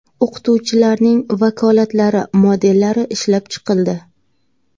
O‘qituvchilarning vakolatlari modellari ishlab chiqildi.